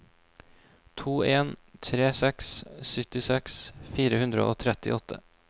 to en tre seks syttiseks fire hundre og trettiåtte